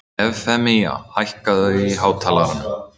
Evfemía, hækkaðu í hátalaranum.